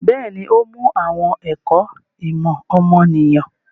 Bẹ́ẹ̀ni, ó mú àwọn ẹ̀kọ́ ìmọ̀ ọmọnìyàn.